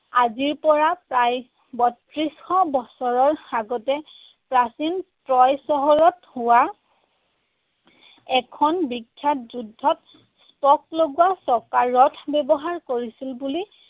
আজিৰ পৰা প্ৰায় বত্ৰিশশ বছৰৰ আগতে প্ৰাচীন ত্ৰয় চহৰত হোৱা এখন বিখ্যাত যুদ্ধত spoke লগোৱা চকাৰ ৰথ ব্যৱহাৰ কৰিছিল বুলি